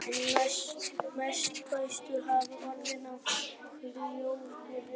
Einna mestar breytingar hafa orðið á hljóðkerfi málsins.